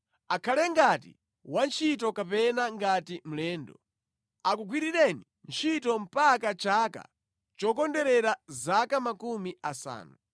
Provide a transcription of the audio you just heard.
Akhale ngati wantchito kapena ngati mlendo. Akugwirireni ntchito mpaka chaka chokondwerera zaka makumi asanu.